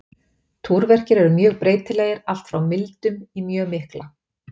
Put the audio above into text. Túrverkir eru mjög breytilegir, allt frá mildum í mjög mikla.